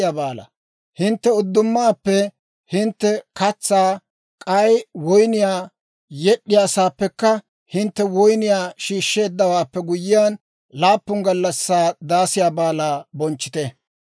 «Hintte uddumaappe hintte katsaa, k'ay woyniyaa yed'd'iyaasaappekka hintte woyniyaa shiishsheeddawaappe guyyiyaan, laappun gallassaa Daasiyaa Baalaa bonchchite.